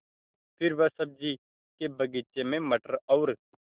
फिर वह सब्ज़ी के बगीचे में मटर और